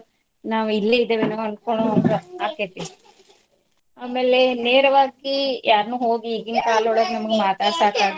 ನಾವ್ ಇಲ್ಲಿ ಇದೆವೇನೋ ಅಂತಾ ಆಕ್ಕೆತಿ. ಆಮೇಲೆ ನೇರವಾಗಿ ಯಾರ್ನ್ನು ಹೋಗಿ ಈಗಿನ ಕಾಲದೊಳಗ ನಮ್ಗ್ ಮಾತಾಡ್ಸಾಕ್.